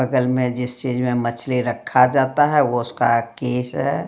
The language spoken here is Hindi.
बगल में जिस चीज में मछली रखा जाता है वो उसका केस है।